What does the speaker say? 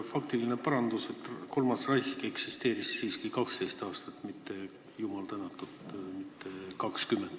Faktiline parandus: kolmas Reich eksisteeris siiski 12 aastat, mitte, jumal tänatud, 20.